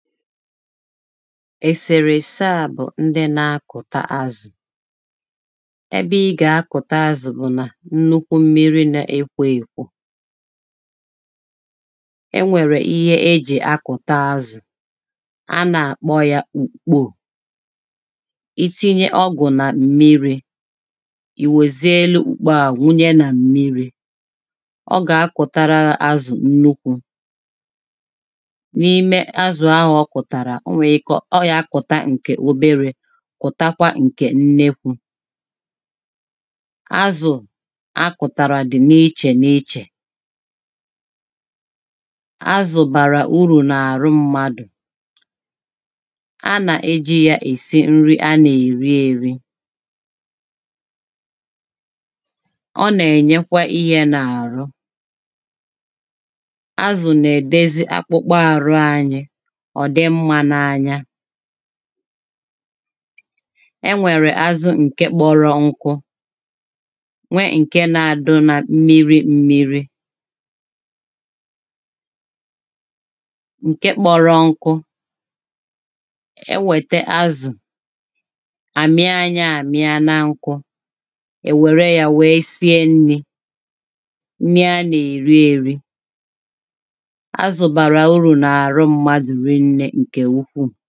ẹsèrè èsẹ à bụ̀ ndị na akọta azụ̀ ẹbẹ ị gà-akọ̀ta azụ̀ bụ̀ nnukwu mmiri na ekwo ekwo e nwèrè ihe ejè akụ̀ta azụ̀ a nà-àkpọ ya ùkpò ìtinye ọgụ̀ nà mmiri̇ ì wezie elu ukpo à wunye nà mmiri̇ ọ gà akọ̀tara azụ̀ nnukwu̇ n'ime azụ ahụ ọ kotara o nwere ike ọ yà-akụ̀ta ǹkè oberė kwụtakwa ǹkè nnekwu̇ azụ̀ akụ̀tàrà dị̀ na ichè na ichè. Azu bara uru n'ahụ mmadu, a na eji esi nri a na-eti eri. Ọ na enyekwa ihe n'ahụ. Azụ na edozi akpụkpọ ahụ anyị ka ọ dị mma n'anya e nwèrè azụ ǹke kpọrọ nkụ nwee ǹke na-adị na mmiri mmiri, ǹkè kpọrọ nkụ e nweta azu, a mia ya amia na ọkụ e were ya sie nri, nri a na eri eri. Azụ bara uru hie nne nke ukwuu